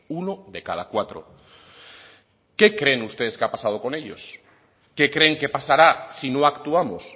uno de cada cuatro qué creen ustedes que ha pasado con ellos qué creen que pasará si no actuamos